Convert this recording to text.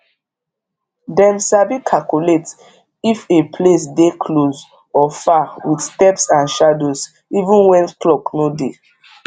dem sabi calculate if a place dey close or far with steps and shadows even when clock no dey